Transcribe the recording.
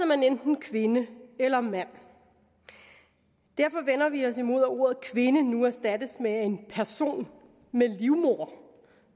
man enten kvinde eller mand og derfor vender vi os imod at ordet kvinde nu erstattes af person med livmoder